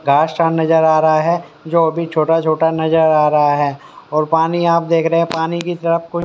नजर आ रहा है जो अभी छोटा-छोटा नजर आ रहा है और पानी आप देख रहे हैं पानी की तरफ कोई--